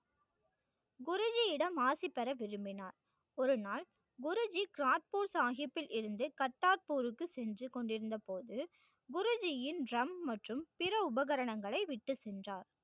குருஜியிடம் ஆசி பெற விரும்பினார் ஒரு நாள் குருஜி கிராட்பூர் சாகிப்பில் இருந்து கத்தார்பூருக்கு சென்று கொண்டிருந்தபோது குருஜியின் drum மற்றும் பிற உபகரணங்களை விட்டு சென்றார்.